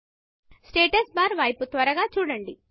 status barస్టేటస్ bar వైపు త్వరగా చూడండి